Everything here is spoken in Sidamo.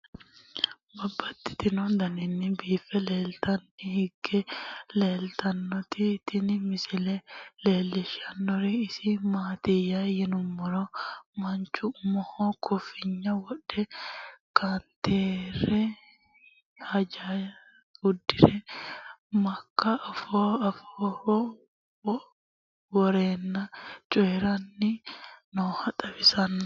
Babaxxittinno daninni biiffe aleenni hige leelittannotti tinni misile lelishshanori isi maattiya yinummoro manchu umoho koofinya wodhe, kannateera haanjja udirre, maaka afooho woreenna coyiiranni nooha xawissanno